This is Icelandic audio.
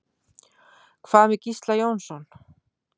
Hvað með Gísla Jónsson?